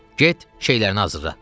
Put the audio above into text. Get, şeylərini hazırla.